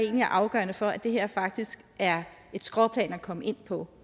er afgørende for at det her faktisk er et skråplan at komme ind på